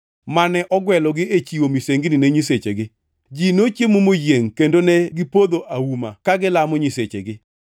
mane ogwelogi e chiwo misengini ne nyisechegi. Ji nochiemo moyiengʼ kendo negipodho auma ka gilamo nyisechegi.